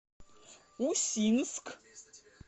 усинск